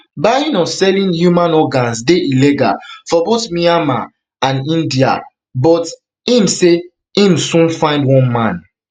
buying or selling human organs dey illegal for both myanmar and india but im say im soon find one man